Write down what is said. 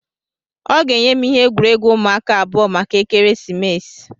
ọ ga-enye m ihe egwuregwu ụmụaka abụọ maka ekeresimesi